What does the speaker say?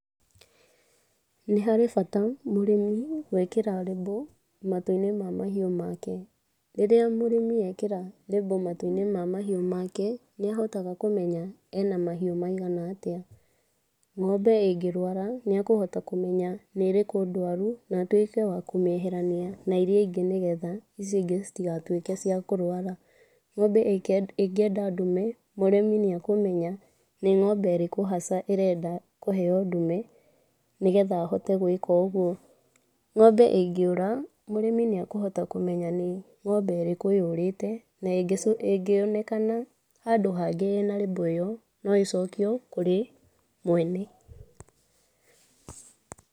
Nĩ harĩ bata mũrĩmi gũĩkĩra label matũ-inĩ ma mahiũ make. Rĩrĩa mũrĩmi ekĩra label matũ-inĩ ma mahiũ make, nĩ ahotaga kũmenya ena mahiũ maigana atĩa. Ng'ombe ĩngĩrũara, nĩ ekũhota kũmenya nĩ ĩrĩkũ ndwaru na atuĩke wa kũmĩeherania na iria ingĩ nĩgetha icio ingĩ citigatuĩke cia kũrũara. Ng'ombe ĩngĩenda ndũme, mũrĩmi nĩ ekũmenya nĩ ng'ombe ĩrĩkũ haca ĩrenda kũheo ndũme nĩgetha ahote gũĩka ũguo. Ng'ombe ĩngĩũra mũrĩmi nĩ akũhota kũmenya nĩ ng'ombe ĩrĩkũ yũrĩte na ĩngĩonekana handũ hangĩ ĩ na label ĩyo, no ĩcokio kũrĩ mwene.